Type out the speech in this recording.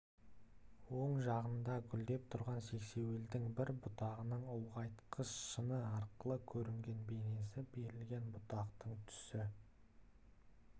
оң жағында гүлдеп тұрған сексеуілдің бір бұтағының ұлғайтқыш шыны арқылы көрінген бейнесі берілген бұтақтың түсі